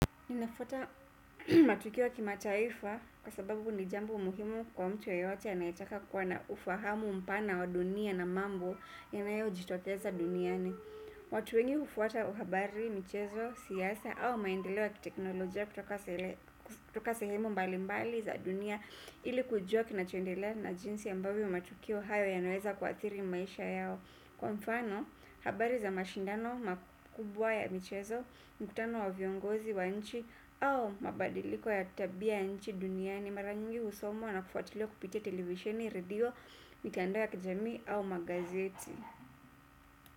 Ninafuata matukio ya kimataifa kwa sababu ni jambo muhimu kwa mtu yeyote anayetaka kuwa na ufahamu mpana wa dunia na mambo yanayojitokeza duniani. Watu wengi hufuata habari, michezo, siasa au maendeleo ya kiteknolojia kutoka sehemu mbali mbali za dunia ili kujua kinachoendelea na jinsi ambavyo matukio hayo yanaeza kuathiri maisha yao. Kwa mfano, habari za mashindano makubwa ya michezo, mkutano wa viongozi wa nchi au mabadiliko ya tabia ya nchi duniani mara nyingi husomwa na kufuatiliwa kupitia televisheni, redio, mitandao ya kijamii au magazeti.